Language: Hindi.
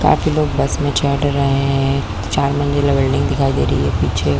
काफी लोग बस में चढ़ रहै हैं चार मंजिला बिल्डिंग दिखाई दे रही है पीछे --